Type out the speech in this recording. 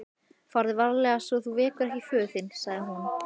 Farðu varlega svo þú vekir ekki föður þinn, sagði hún.